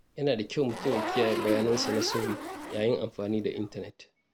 Yana da kyau mutum ya kiyaye bayanansa na sirri yayin amfani da intanet.